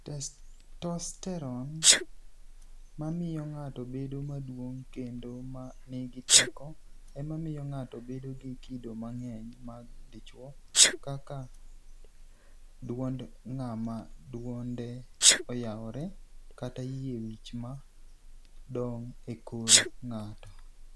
Testosteroni e, mamiyo nig'ato bedo maduonig' kenido ma niigi teko, ema miyo nig'ato bedo gi kido manig'eniy mag dichwo - kaka dwonid nig'ama dwonide oyawore, kata yie wich ma donigo e kor nig'ato.